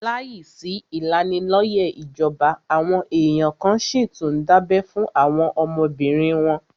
Láìsí ìmọ̀ ìlanilóyẹ̀ ìjọba, àwọn èèyàn kan n síi tún dábẹ́ fún àwọn ọmọbìnrin wọn